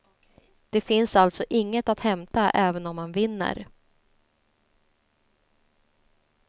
Det finns alltså inget att hämta även om man vinner.